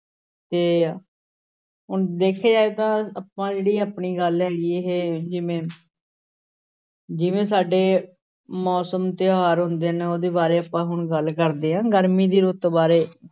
ਤੇ ਹੁਣ ਦੇਖਿਆ ਜਾਏ ਤਾਂ ਆਪਾਂ ਜਿਹੜੀ ਆਪਣੀ ਗੱਲ ਹੈਗੀ ਇਹ ਜਿਵੇਂ ਜਿਵੇਂ ਸਾਡੇ ਮੌਸਮ ਤਿਉਹਾਰ ਹੁੰਦੇ ਨੇ ਉਹਦੇ ਬਾਰੇ ਆਪਾਂ ਹੁਣ ਗੱਲ ਕਰਦੇ ਹਾਂ ਗਰਮੀ ਦੀ ਰੁੱਤ ਬਾਰੇੇ